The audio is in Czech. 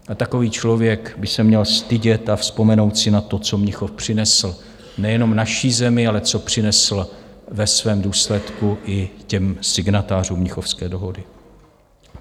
A takový člověk by se měl stydět a vzpomenout si na to, co Mnichov přinesl nejenom naší zemi, ale co přinesl ve svém důsledku i těm signatářů Mnichovské dohody.